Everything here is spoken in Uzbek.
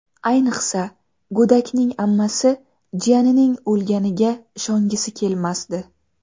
Ayniqsa, go‘dakning ammasi jiyanining o‘lganiga ishongisi kelmasdi.